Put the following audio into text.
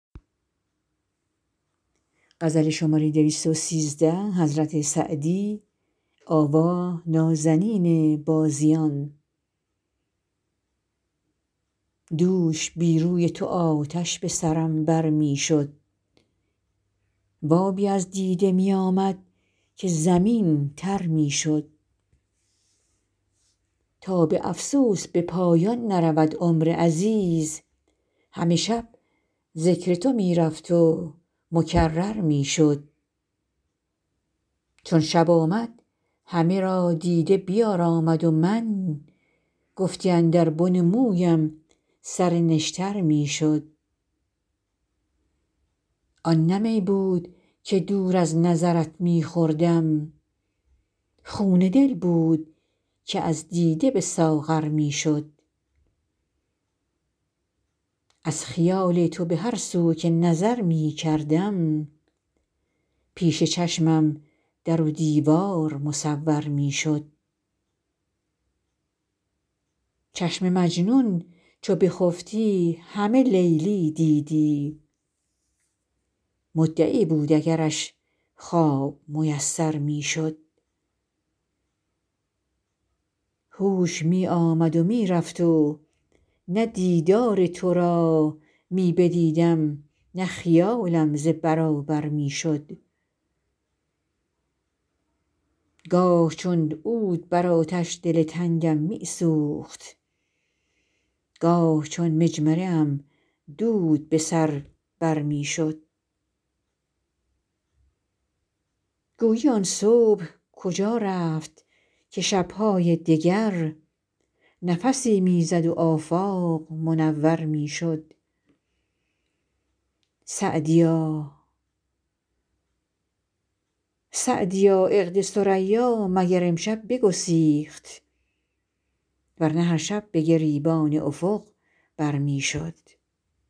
دوش بی روی تو آتش به سرم بر می شد و آبی از دیده می آمد که زمین تر می شد تا به افسوس به پایان نرود عمر عزیز همه شب ذکر تو می رفت و مکرر می شد چون شب آمد همه را دیده بیارامد و من گفتی اندر بن مویم سر نشتر می شد آن نه می بود که دور از نظرت می خوردم خون دل بود که از دیده به ساغر می شد از خیال تو به هر سو که نظر می کردم پیش چشمم در و دیوار مصور می شد چشم مجنون چو بخفتی همه لیلی دیدی مدعی بود اگرش خواب میسر می شد هوش می آمد و می رفت و نه دیدار تو را می بدیدم نه خیالم ز برابر می شد گاه چون عود بر آتش دل تنگم می سوخت گاه چون مجمره ام دود به سر بر می شد گویی آن صبح کجا رفت که شب های دگر نفسی می زد و آفاق منور می شد سعدیا عقد ثریا مگر امشب بگسیخت ور نه هر شب به گریبان افق بر می شد